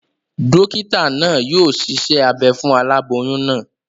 Dókítà naa yio siṣẹ́ abe fún aláboyún naa